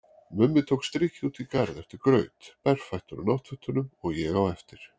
Mummi tók strikið út í garð eftir graut, berfættur á náttfötunum, og ég á eftir.